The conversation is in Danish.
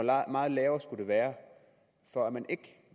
meget lavere skulle det være for at man ikke